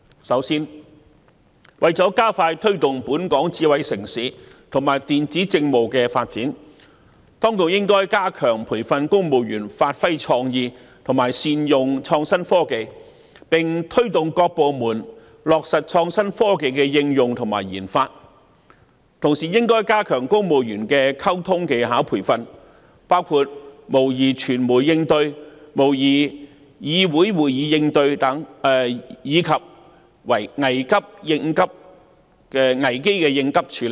首先，為了加快推動本港成為智慧城市，以及電子政務的發展，當局應該加強培訓公務員發揮創意，以及善用創新科技，並推動各部門落實創新科技的應用和研發；同時，應加強公務員的溝通技巧培訓，包括模擬傳媒應對、模擬議會會議應對，以及危機應急處理等。